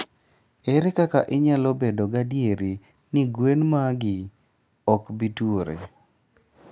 Ere kaka inyalo bedo gadier ni gwen magi ok bi tuore?